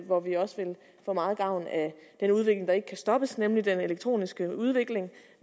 hvor vi også vil få meget gavn af den udvikling der ikke kan stoppes nemlig den elektroniske udvikling